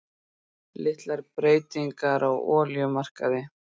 Litlar breytingar á olíumarkaði